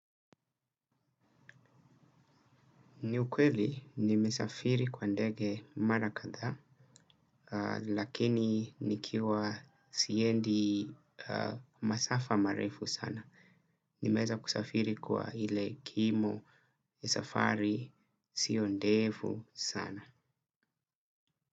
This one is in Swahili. Ni ukweli, nimesafiri kwa ndege mara kadha, lakini nikiwa siendi masafa marefu sana. Nimeza kusafiri kwa ile kimo safari sio ndevu sana.